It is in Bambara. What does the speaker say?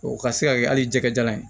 O ka se ka kɛ hali jɛgɛ jajalan ye